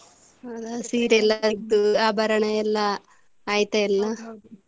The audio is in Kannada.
ಹಾ ಹೌದಾ ಸೀರೆ ಎಲ್ಲ ತೆಗದು ಆಭರಣ ಎಲ್ಲ ಆಯ್ತಾ ಎಲ್ಲ?